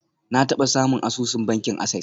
Na taba samun asusun bankin access.